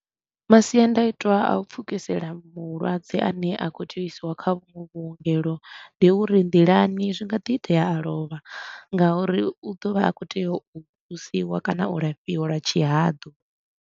Masiandaitwa a u pfukisela mulwadze a ne a khou tea u isiwa kha vhunwe vhuongelo, ndi uri nḓilani zwi nga ḓi itea a lovha ngauri u ḓo vha a khou tea u thusiwa kana u lafhiwa lwa tshihaḓu.